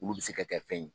Olu bɛ se ka kɛ fɛn ye